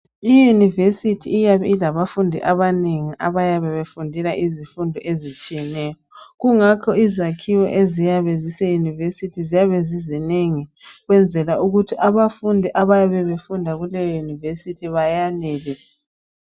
Iyunivesithi iyabe ilabafundi abanengi abayabe befundela izifundo ezitshiyeneyo Kungakho izakhiwo eziyabe ziseyunivesithi ziyabe zizinengi ukwenzela ukuthi abafundi abayabe befunda kuleyo yunivesithi bayanele